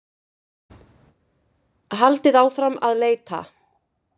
Haldið áfram að leita